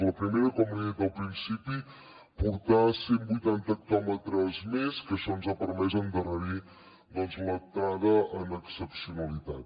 la primera com li he dit al principi portar cent vuitanta hectòmetres més que això ens ha permès endarrerir l’entrada en excepcionalitat